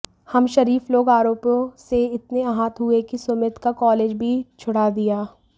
हम शरीफ लोग आरोपों से इतने आहत हुए कि सुमित का कॉलेज भी छुडा दिया